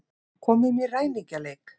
Komum í ræningjaleik.